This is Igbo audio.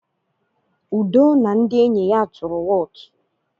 Udo na ndị enyi ya tụrụ wọọtụ.